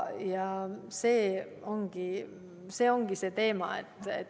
See ongi see teema.